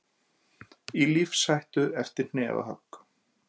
Í lífshættu eftir hnefahögg